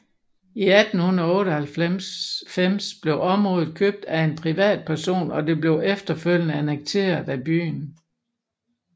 I 1898 blev området købt af af en privatperson og det blev efterfølgende annekteret af byen